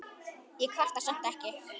Ég kvarta samt ekki.